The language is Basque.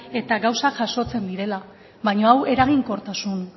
eta gauzak jasotzen direla baina hau eraginkortasun